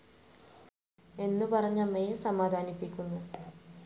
എന്നു പറഞ്ഞ് അമ്മയെ സമാധാനിപ്പിക്കുന്നു.